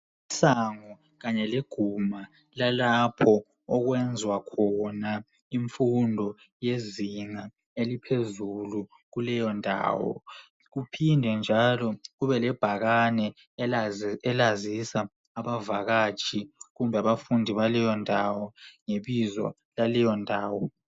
Isango kanye leguma lalapho okwenzwa khona imfundo yezinga eliphezulu kuleyo ndawo. Kuphinde njalo kube lebhakane elazisa abavakatshi kumbe abafundi baleyo ndawo ngebizo laleyo ndawo.